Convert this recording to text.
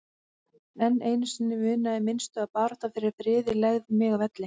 En einu sinni munaði minnstu að baráttan fyrir friði legði mig að velli.